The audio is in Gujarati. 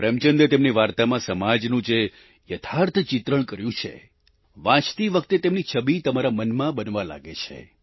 પ્રેમચંદે તેમની વાર્તામાં સમાજનું જે યથાર્થ ચિત્રણ કર્યું છે વાંચતી વખતે તેમની છબી તમારા મનમાં બનવા લાગે છે